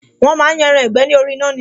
Wọn máa ń yan ẹran ìgbẹ́ ni orí iná ni